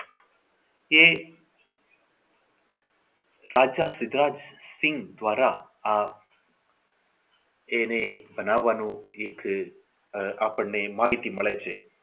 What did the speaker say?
એ રાજા સિદ્ધરાજ સિંઘ દ્વારા આ એને બનાવવાનું એક આહ એક માહિતી મળે છે.